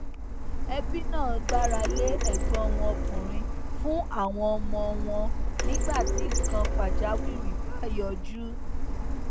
ẹbí náà gbára lé ẹgbọn wọn ọkùnrin fún àwọn ọmọ wọn nígbà tí nnkan pàjáwìrì bá yọjú